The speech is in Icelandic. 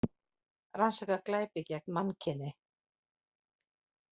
Rannsaka glæpi gegn mannkyni